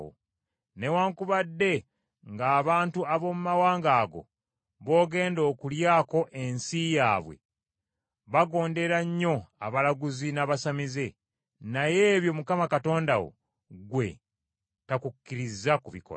Newaakubadde ng’abantu ab’omu mawanga ago b’ogenda okulyako ensi yaabwe, bagondera nnyo abalaguzi n’abasamize, naye ebyo Mukama Katonda wo, ggwe, takukkiriza kubikola.